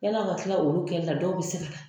Yani aw ka tila olu kɛli la dɔw be se ka na.